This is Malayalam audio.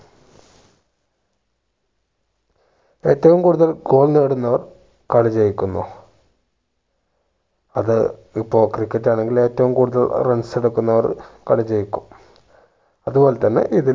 ഏറ്റവും കൂടുതൽ goal നേടുന്നവർ കളി ജയിക്കുന്നു അത് ഇപ്പോ ക്രിക്കറ്റ് ആണെങ്കിൽ ഏറ്റവും കൂടുതൽ runs എടുക്കുന്നവർ കളി ജയിക്കും അതുപോലെ തന്നെ ഇതിലും